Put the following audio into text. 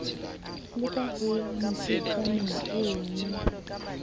ka ho ya moketjaneng ono